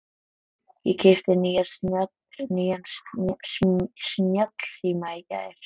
Ég keypti nýjan snjallsíma í gær.